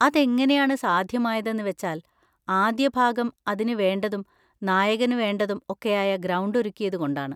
അതെങ്ങനെയാണ് സാധ്യമായതെന്ന് വെച്ചാൽ, ആദ്യഭാഗം അതിന് വേണ്ടതും നായകന് വേണ്ടതും ഒക്കെയായ ഗ്രൗണ്ട് ഒരുക്കിയത് കൊണ്ടാണ്.